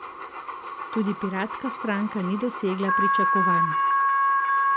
Tudi Piratska stranka ni dosegla pričakovanj.